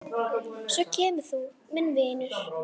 Svo kemur þú, minn vinur.